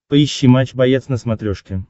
поищи матч боец на смотрешке